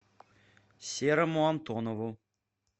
серому антонову